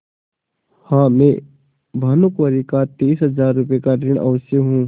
हाँ मैं भानुकुँवरि का तीस हजार का ऋणी अवश्य हूँ